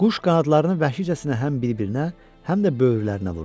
Quş qanadlarını vəhşicəsinə həm bir-birinə, həm də böyürlərinə vurdu.